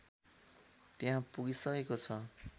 त्यहाँ पुगिसकेको छ